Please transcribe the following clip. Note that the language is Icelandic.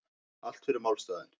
Allt fyrir málstaðinn